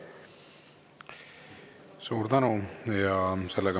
Suur tänu!